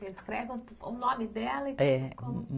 Descreve um po, o nome dela. É